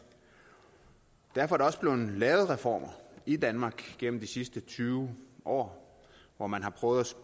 derfor er der også blevet lavet reformer i danmark gennem de sidste tyve år hvor man har prøvet